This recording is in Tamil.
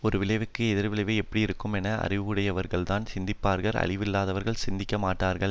ஒரு விளைவுக்கு எதிர் விளைவு எப்படியிருக்குமென அறிவுடையவர்கள்தான் சிந்திப்பார்கள் அறிவில்லாதவர்கள் சிந்திக்க மாட்டார்கள்